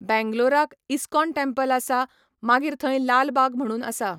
बेंग्लोराक ISKCON temple आसा, मागीर थंय लाल बाग म्हणून आसा.